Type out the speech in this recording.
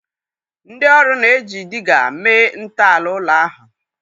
Ndị ọrụ na-eji Dịgga mee ntọala ụlọ ahụ.